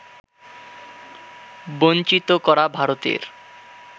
বঞ্চিত করা ভারতের